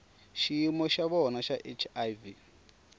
xiyimo xa vona xa hiv